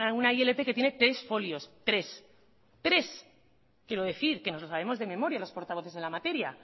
una ilp que tiene tres folios tres quiero decir que nos lo sabemos de memoria los portavoces en la materia